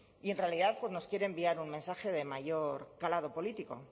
y en realidad pues nos quieren enviar un mensaje de mayor calado político